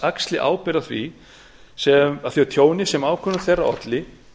axli ábyrgð á því tjóni sem ákvörðun þeirra olli